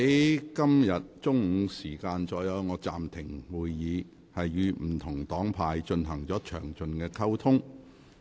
我在今天中午暫停會議後，與不同黨派議員進行了詳盡溝通。